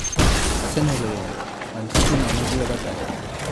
Arsenal oyombo, Man City nono gi Everton